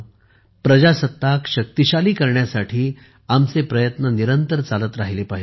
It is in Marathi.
प्रजासत्ताक शक्तिशाली करण्यासाठी आमचे प्रयत्न निरंतर सतत चालत राहिले पाहिजे